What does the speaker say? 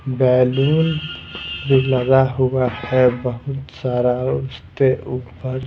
balloon भी लगा हुआ है बहुत सारा उससे ऊपर --